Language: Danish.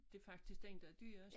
Det faktisk den der er dyrest